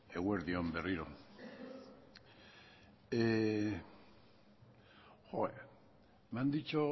eguerdi on berriro me han dicho